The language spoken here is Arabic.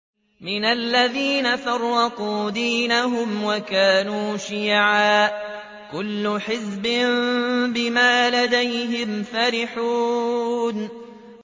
مِنَ الَّذِينَ فَرَّقُوا دِينَهُمْ وَكَانُوا شِيَعًا ۖ كُلُّ حِزْبٍ بِمَا لَدَيْهِمْ فَرِحُونَ